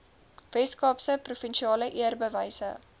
weskaapse provinsiale eerbewyse